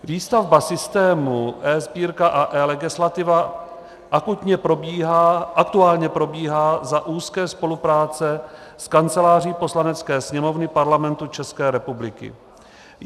Výstavba systému eSbírka a eLegislativa aktuálně probíhá za úzké spolupráce s Kanceláří Poslanecké sněmovny Parlamentu České republiky.